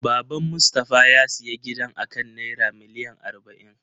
Baban Mustafa ya siya gidan akan naira miliyan arba'in.